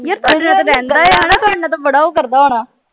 ਬੜਾ ਉਹ ਕਰਦਾ ਹੋਣਾ